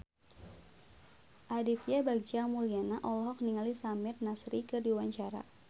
Aditya Bagja Mulyana olohok ningali Samir Nasri keur diwawancara